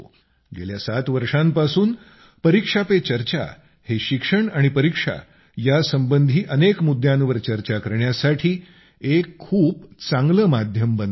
गेल्या 7 वर्षांपासून परीक्षा पे चर्चा हे शिक्षण आणि परीक्षा यासंबंधी अनेक मुद्यांवर चर्चा करण्यासाठी एक खूप चांगलं माध्यम बनलं आहे